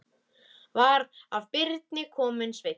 Var af Birni kominn Sveinn.